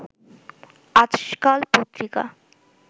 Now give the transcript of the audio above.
আজকাল পত্রিকা